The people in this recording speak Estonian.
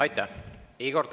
Aitäh!